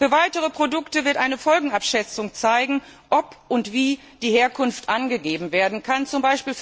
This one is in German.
Für weitere Produkte wird eine Folgenabschätzung zeigen, ob und wie die Herkunft angegeben werden kann, z.